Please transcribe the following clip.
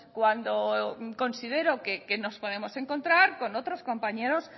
cuando considero que nos podemos encontrar con otros compañeros